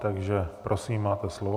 Tak prosím, máte slovo.